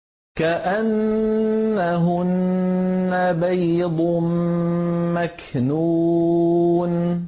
كَأَنَّهُنَّ بَيْضٌ مَّكْنُونٌ